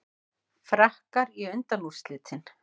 Frakkar í undanúrslitin